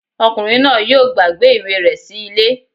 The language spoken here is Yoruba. Ọkùnrin náà yóò gbàgbé ìwé rẹ̀ sí ilé